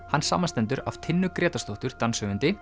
hann samanstendur af Tinnu Grétarsdóttur